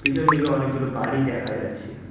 পিছন দিকে অনেক গুলো বাড়ি দেখা যাচ্ছে।